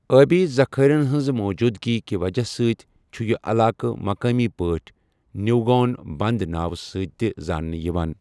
ٲبی ذخٲیِرَن ہٕنٛدِ موٗجوٗدٕگی کہِ وجہ سۭتۍ چھُ یہِ علاقہٕ مُقٲمی پٲٹھۍ نیوگون بند ناوٕ سۭتۍ تہِ زاننہٕ یِوان۔